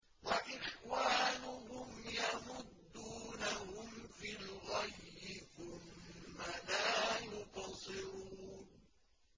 وَإِخْوَانُهُمْ يَمُدُّونَهُمْ فِي الْغَيِّ ثُمَّ لَا يُقْصِرُونَ